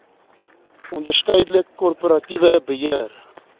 onderskeidelik korporatiewe beheer